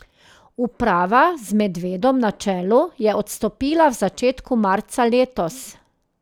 Uprava z Medvedom na čelu je odstopila v začetku marca letos.